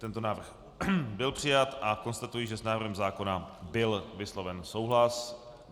Tento návrh byl přijat a konstatuji, že s návrhem zákona byl vysloven souhlas.